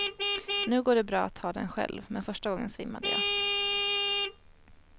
Nu går det bra att ta den själv, men första gången svimmade jag.